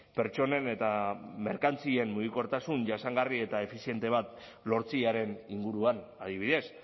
pertsonen eta merkantzien mugikortasun jasangarria eta efiziente bat lortzearen inguruan adibidez